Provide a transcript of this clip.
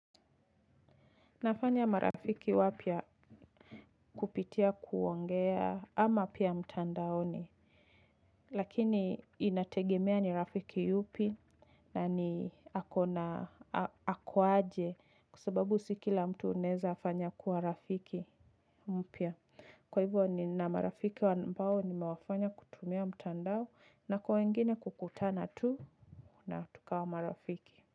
Nafanya marafiki wapya kupitia kuongea ama pia mtandaoni, lakini inategemea ni rafiki yupi na ni ako aje kwa sababu sikila mtu unaweza fanya kuwa rafiki mpya. Kwa hivyo nina marafiki ambao nimewafanya kutumia mtandao na kwa wengine kukutana tu na tukawa marafiki.